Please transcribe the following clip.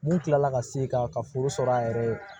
Mun kila la ka segin ka ka foro sɔrɔ a yɛrɛ ye